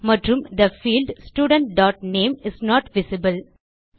மற்றும் the field student dot name is not visible